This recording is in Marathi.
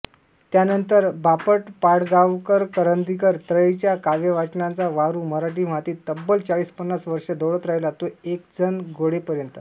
त्यानंतर बापटपाडगावकरकरंदीकर त्रयीचा काव्यवाचनाचा वारू मराठी मातीत तब्बल चाळीसपन्नास वर्षं दौडत राहिला तो एकेकजण गळेपर्यंत